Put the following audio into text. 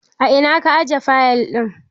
A ina ka aje fayil ɗin?